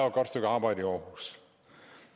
et godt stykke arbejde i aarhus